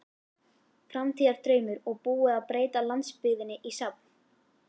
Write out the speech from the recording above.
Framtíðardraumur og búið að breyta landsbyggðinni í safn.